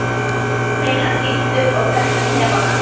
segir hann illur og kreppir hnefana.